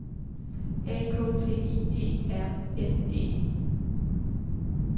A K T I E R N E